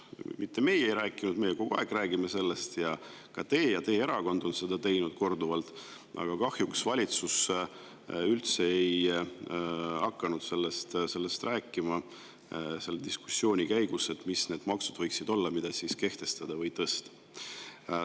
Või mitte seda, et meie sellest ei rääkinud, sest meie räägime sellest kogu aeg ning ka teie ja teie erakond on seda korduvalt teinud, aga kahjuks ei hakanud valitsus sellest rääkima selle diskussiooni käigus, et mis võiksid olla need maksud, mida võiks kas kehtestada või tõsta.